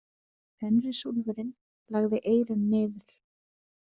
Fenrisúlfurinn lagði eyrun niður.